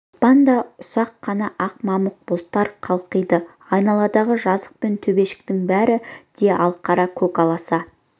аспанда ұсақ қана ақ мамық бұлттар қалқиды айналадағы жазық пен төбешіктің бәрі де алқара көк аласа